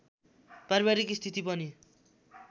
पारिवारिक स्थिति पनि